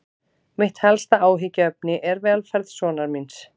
Mitt helsta áhyggjuefni er velferð sonar míns.